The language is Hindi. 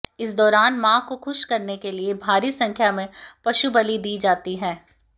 इस दौरान मां को खुश करने के लिए भारी संख्या में पशुबलि दी जाती है